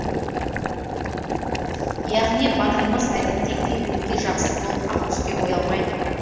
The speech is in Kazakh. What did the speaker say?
яғни батырымыз әдеттегідей өңкей жақсы болып ақ түске боялмайды